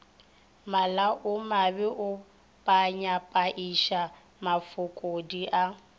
malaomabe o phayaphaiša mafokodi a